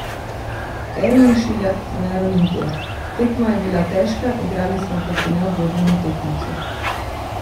Ermin Šiljak, trener Olimpije: 'Tekma je bila težka, igrali smo proti neugodnemu tekmecu.